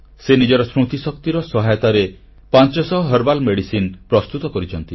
ସେ ନିଜର ସ୍ମୃତିଶକ୍ତି ସହାୟତାରେ 500 ଆୟୁର୍ବେଦ ଔଷଧ ବା ହର୍ବାଲ ମେଡିସିନ୍ ପ୍ରସ୍ତୁତ କରିଛନ୍ତି